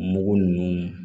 Mugu ninnu